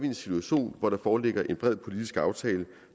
en situation hvor der foreligger en bred politisk aftale